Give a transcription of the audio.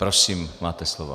Prosím, máte slovo.